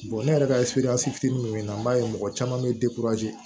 ne yɛrɛ ka fitini mun na n b'a ye mɔgɔ caman bɛ